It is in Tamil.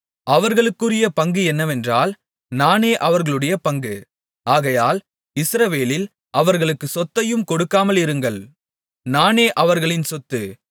அவர்களுக்குரிய பங்கு என்னவென்றால் நானே அவர்களுடைய பங்கு ஆகையால் இஸ்ரவேலில் அவர்களுக்கு சொத்தையும் கொடுக்காமல் இருங்கள் நானே அவர்களின் சொத்து